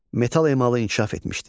Metal emalı inkişaf etmişdi.